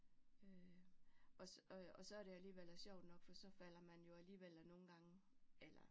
Øh og og så er det alligevel sjovt nok for så falder man jo alligevel af nogle gange eller